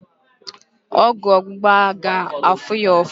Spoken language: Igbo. Ọgwụ ógbụ̀gbá ga-afụ ya ụfụ